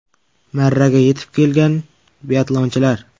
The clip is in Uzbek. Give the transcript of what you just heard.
Marraga yetib kelgan biatlonchilar.